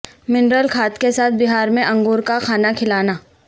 mineral کھاد کے ساتھ بہار میں انگور کا کھانا کھلانا